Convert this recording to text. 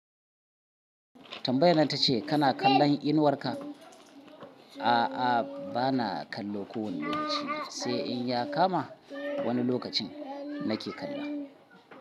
Tambayar nan ta ce kana kallon inuwarka? A'a, bana kallo kowane lokaci, sai in ya kama wani lokacin nake kalla.